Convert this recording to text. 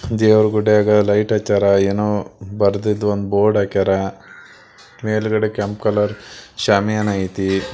ದೇವ್ರ ಗುಡಿಯಾಗ್ ಲೈಟ್ ಹಚ್ಚಾರ್ ಏನೋ ಬರದಿದ ಒಂದ ಬೋರ್ಡ್ ಹಾಕ್ಯಾರ ಮೇಲಗಡೆ ಕೆಂಪ್ ಕಲರ್ ಷ್ಯಮಿಯಾನ ಐತಿ.